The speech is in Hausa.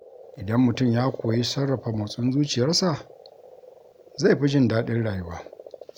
Idan mutum ya koyi sarrafa motsin zuciyarsa, zai fi jin daɗin rayuwa.